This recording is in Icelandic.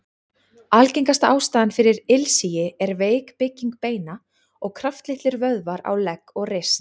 Algengasta ástæðan fyrir ilsigi er veik bygging beina og kraftlitlir vöðvar á legg og rist.